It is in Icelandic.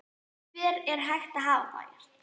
Hvar er hægt að hafa þær?